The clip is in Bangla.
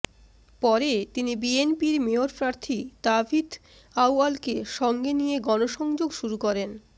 পরে তিনি বিএনপির মেয়র প্রার্থী তাবিথ আউয়ালকে সঙ্গে নিয়ে গণসংযোগ শুরু করেন